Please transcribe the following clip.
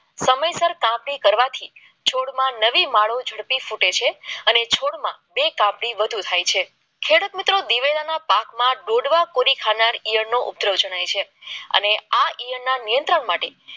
કાપણી કરવાથી છોડમાં નવી માળો ઝડપી શકે છે અને થૂળમાં બે કાપા થી વધુ થાય છે ખેડૂત મિત્રો દિવેલીયાના પાકમાં કોરી કાના એનો ઉત્તર જણાય છે અને આ નિયંત્રણ માટે